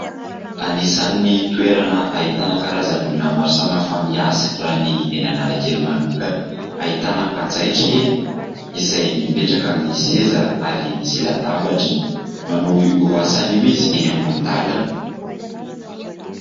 Anisan'ny toerana ahitana karazan'olona maro samy hafa miasa raha ny eny Analakely manokana. Ahitana mpanjaitra eny izay mipetraka amin'ny seza ary misy latabatra. Manao io asany io izy, eny amoron-dalana.